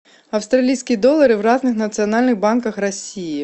австралийские доллары в разных национальных банках россии